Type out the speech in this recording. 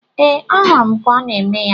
Ee, ahụrụ m ka ọ na-eme ya.